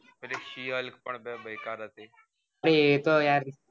pay લી she hulk પણ સેકર હતી એ તો યાર